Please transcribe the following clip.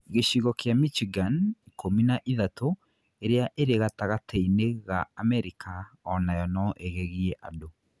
Gĩchigo kĩa Michigan (ikumi na ithahtu) ĩrĩa ĩrĩ gatagatĩ-inĩ ga Amerika, o nayo no ĩgegie andũ.